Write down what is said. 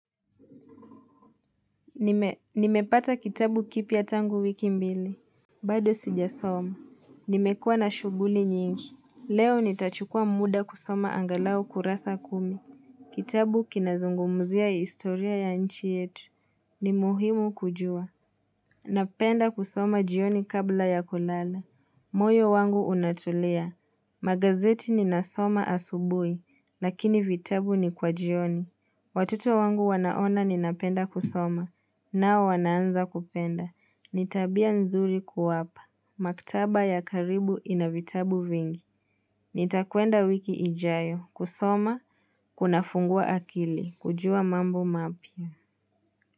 Nimepata kitabu kipya tangu wiki mbili. Bado sijasoma. Nimekuwa na shughuli nyingi. Leo nitachukuwa muda kusoma angalau kurasa kumi. Kitabu kinazungumzia historia ya nchi yetu. Ni muhimu kujua. Napenda kusoma jioni kabla ya kulala. Moyo wangu unatulia. Magazeti ninasoma asubuhi. Lakini vitabu ni kwa jioni. Watuto wangu wanaona ninapenda kusoma. Nao wanaanza kupenda. Ni tabia nzuri kuwapa. Maktaba ya karibu inavitabu vingi. Nitakuenda wiki ijayo. Kusoma. Kuna fungua akili. Kujua mambu mapya.